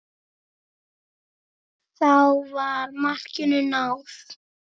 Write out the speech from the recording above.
Þá var markinu náð.